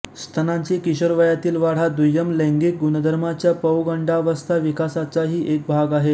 स्तनांची किशोरवयातील वाढ हा दुय्यम लैंगिक गुणधर्मांच्या पौगंडावस्था विकासाचाही एक भाग आहे